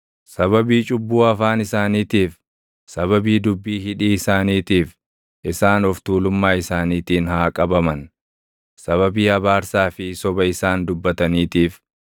Sababii cubbuu afaan isaaniitiif, sababii dubbii hidhii isaaniitiif, isaan of tuulummaa isaaniitiin haa qabaman. Sababii abaarsaa fi soba isaan dubbataniitiif,